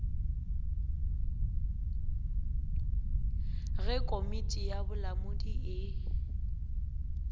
ge komiti ya bolamodi e